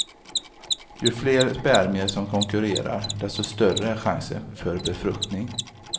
Ju fler spermier som konkurrerar, desto större är chansen för befruktning.